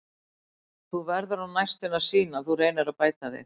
Þú verður á næstunni að sýna að þú reynir að bæta þig.